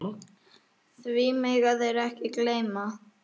Því mega þeir ekki gleyma.